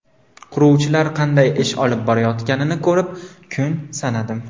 Quruvchilar qanday ish olib borayotganini ko‘rib, kun sanadim.